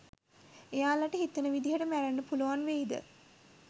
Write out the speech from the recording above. එයාලට හිතන විදියට මැරෙන්න පුළුවන් වෙයිද